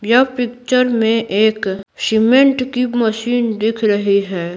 यह पिक्चर में एक सीमेंट की मशीन दिख रही है।